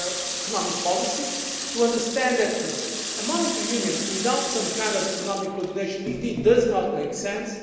to our economic policy, to understand that a monetary union without some kind of economic coordination does not make